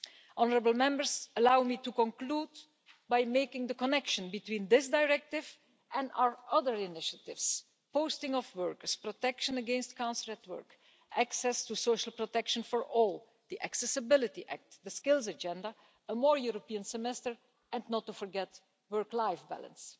Honourable Members, allow me to conclude by making the connection between this directive and our other initiatives posting of workers, protection against cancelled work, access to social protection for all, the Accessibility Act, the skills agenda, a more European semester and, not to forget, work life balance.